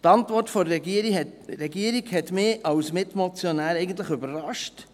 Die Antwort der Regierung hat mich als Mitmotionär eigentlich überrascht.